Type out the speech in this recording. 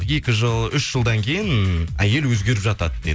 екі жыл үш жылдан кейін әйел өзгеріп жатады дейді